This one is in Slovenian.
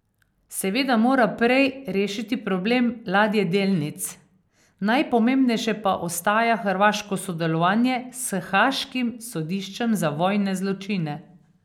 Seveda mora prej rešiti problem ladjedelnic, najpomembnejše pa ostaja hrvaško sodelovanje s haaškim sodiščem za vojne zločine.